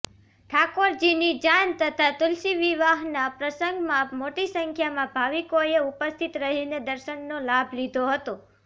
ઠાકોરજીની જાન તથા તુલસી વિવ્હના પ્રસંગમાં મોટી સંખ્યામાં ભાવિકોએ ઉપસ્થિત રહીને દર્શનનો લાભ લીધો હતો